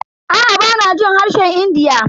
Aa bana jin harshen India.